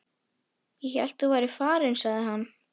Ég hélt þú værir farinn sagði hann.